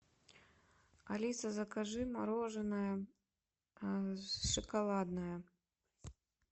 алиса закажи мороженое шоколадное